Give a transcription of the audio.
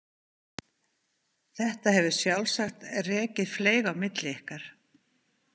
Þetta hefur sjálfsagt rekið fleyg á milli ykkar.